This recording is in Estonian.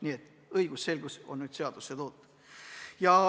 Nii et õigusselgus on seaduses olemas.